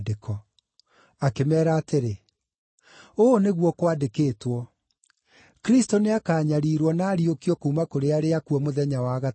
Akĩmeera atĩrĩ, “Ũũ nĩguo kwandĩkĩtwo: Kristũ nĩakanyariirwo na ariũkio kuuma kũrĩ arĩa akuũ mũthenya wa gatatũ,